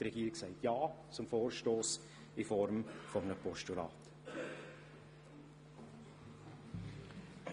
Die Regierung sagt ja zum Vorstoss in Form eines Postulats.